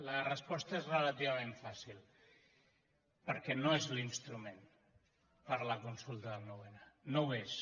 la resposta és relativament fàcil perquè no és l’instrument per a la consulta del noun no ho és